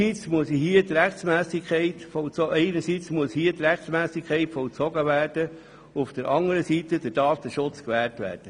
Einerseits muss hier die Rechtmässigkeit vollzogen, anderseits der Datenschutz gewährt werden.